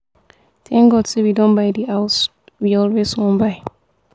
thank god say we don buy the house we always wan buy